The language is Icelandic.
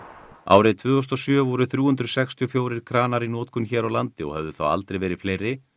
árið tvö þúsund og sjö voru þrjú hundruð sextíu og fjögur kranar í notkun hér á landi og höfðu þá aldrei verið fleiri